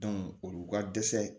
olu ka dɛsɛ